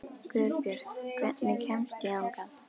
Guðbjört, hvernig kemst ég þangað?